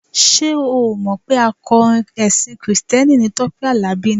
Ṣé o ò mọ̀ pé akọrin ẹṣin kìrìsìtẹ́nì ni Tọ́pẹ́ Àlàbí ni?